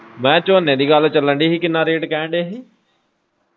ਮੈਂ ਕਿਹਾ ਝੋਨੇ ਦੀ ਗੱਲ ਚੱਲਣ ਦੀ ਹੀ ਕਿੰਨਾ ਰੇਟ ਕਹਿਣ ਦੇ ਹੀ?